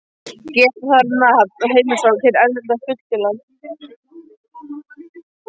Geta þarf um nafn og heimilisfang hins erlenda hlutafélags.